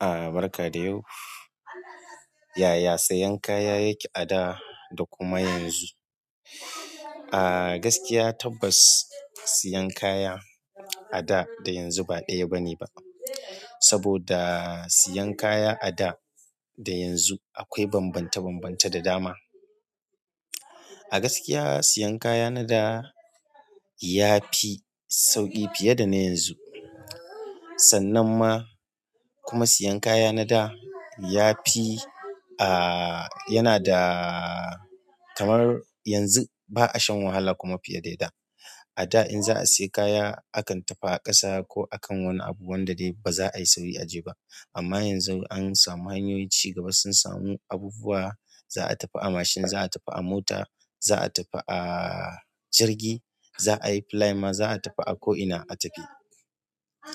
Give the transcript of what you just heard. Ah, barka da yau. Yaya sayen kaya yake a da da kuma yanzu? Ah gaskiya tabbas sayan kaya a da, da yanzu ba ɗaya bane ba. Saboda sayan kaya a da da yanzu akwai bambanta-bambanta da dama. A gaskiya sayen kaya na da ya fi sauƙi fiye da na yanzu. Sannan ma kuma sayen kaya na da ya fi, ah yana da kamar yanzu ba a shan wahala kuma fiye da yana. A da in za a sayi kaya akan tafi a ƙasa ko a kan wani abu wanda dai ba za a yi sauri a je ba. Amma yanzu an samu hanyoyin cigaba sun samu abubuwa za a tafi a mashin, za a tafi a mota, za a tafi a jirgi, za a yi fly ma, za a tafi a ko ina a tafi.